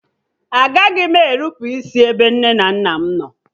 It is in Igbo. Agaghị m e nnupụisi ebe nne na nna m nọ